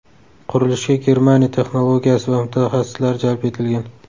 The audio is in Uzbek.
Qurilishga Germaniya texnologiyasi va mutaxassislari jalb etilgan.